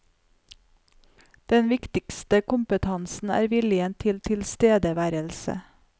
Den viktigste kompetansen er viljen til tilstedeværelse.